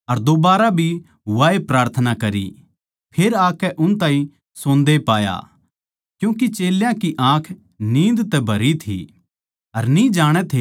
फेर आकै उन ताहीं सोन्दे पाया क्यूँके चेल्यां की आँख नींद तै भरी थी अर न्ही जाणै थे के उसनै के जबाब देवै